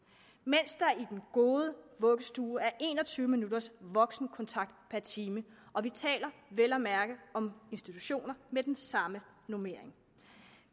mens der i den gode vuggestue er en og tyve minutters voksenkontakt per time og vi taler vel at mærke om institutioner med den samme normering